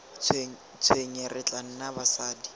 tshwenye re tla nna basadi